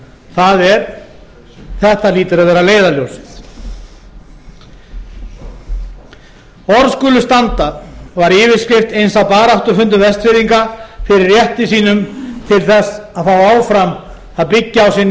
það er þetta hlýtur að vera leiðarljós orð skulu standa var yfirskrift eins af baráttufundum vestfirðinga fyrir rétti sínum til að fá áfram að byggja á sinni